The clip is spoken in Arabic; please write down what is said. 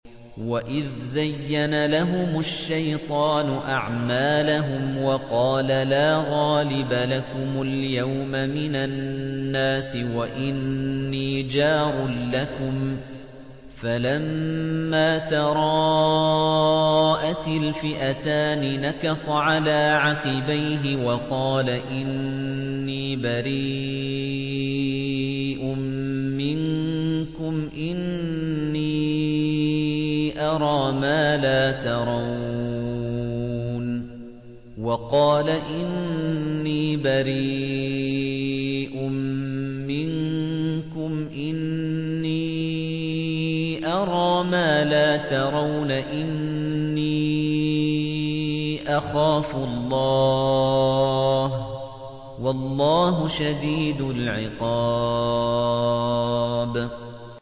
وَإِذْ زَيَّنَ لَهُمُ الشَّيْطَانُ أَعْمَالَهُمْ وَقَالَ لَا غَالِبَ لَكُمُ الْيَوْمَ مِنَ النَّاسِ وَإِنِّي جَارٌ لَّكُمْ ۖ فَلَمَّا تَرَاءَتِ الْفِئَتَانِ نَكَصَ عَلَىٰ عَقِبَيْهِ وَقَالَ إِنِّي بَرِيءٌ مِّنكُمْ إِنِّي أَرَىٰ مَا لَا تَرَوْنَ إِنِّي أَخَافُ اللَّهَ ۚ وَاللَّهُ شَدِيدُ الْعِقَابِ